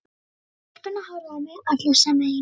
Stelpurnar horfðu á mig allar sem ein.